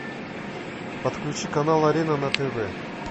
подключи канал арена на тв